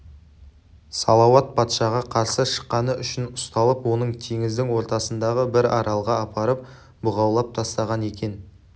салауат патшаға қарсы шыққаны үшін ұсталып оны теңіздің ортасындағы бір аралға апарып бұғаулап тастаған екен